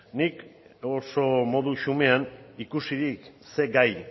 nik oso modu xumean ikusirik zer gai